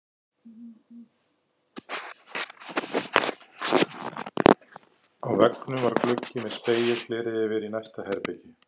Á veggnum var gluggi með spegilgleri yfir í næsta herbergi.